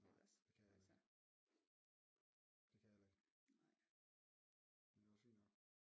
Nej det kan jeg heller ikke det kan jeg heller ikke men det også fint nok